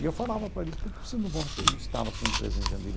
E eu falava para eles, por que que vocês não vão não instala a sua empresa em Jandira?